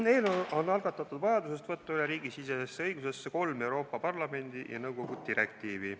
Eelnõu on algatatud tingituna vajadusest võtta riigisisesesse õigusesse üle kolm Euroopa Parlamendi ja nõukogu direktiivi.